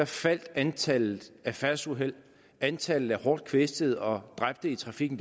faldt antallet af færdselsuheld antallet af hårdt kvæstede og dræbte i trafikken